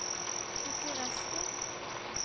Bucuresti